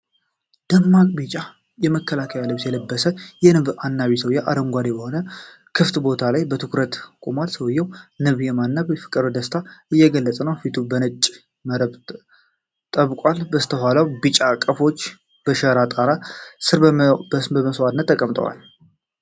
ደማቅ ቢጫ የመከላከያ ልብስ የለበሰ የንብ አናቢ ሰውዬ፣ አረንጓዴ በሆነ ክፍት ቦታ ላይ በኩራት ቆሟል። ሰውዬው ንብ የማነብ ፍቅርንና ደስታን እየገለጸ፣ ፊቱን በነጭ መረብ ጠብቋል። ከበስተኋላው ቢጫ ቀፎዎች በሸራ ጣራ ስር በመስዋዕትነት ተቀምጠዋል።